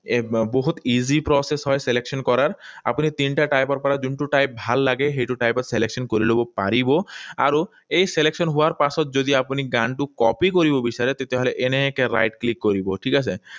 এই বহুত easy process হয় selection কৰাৰ। আপুনি তিনিটা টাইপৰ পৰা যোনটো টাইপ ভাল লাগে, সেইটো selection কৰি লব পাৰিব। আৰু এই selection হোৱাৰ পাছত যদি আপুনি গানটো কৰিব বিচাৰে, তেনেহলে এনেকৈ right click কৰিব, ঠিক আছে?